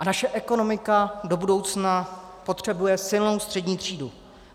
A naše ekonomika do budoucna potřebuje silnou střední třídu.